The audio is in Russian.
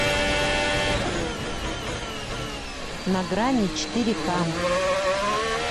на грани четыре к